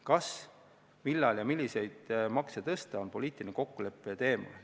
Kas üldse ja kui, siis millal ja milliseid makse tõsta, on poliitilise kokkuleppe teema.